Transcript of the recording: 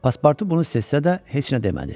Paspartu bunu hiss etsə də heç nə demədi.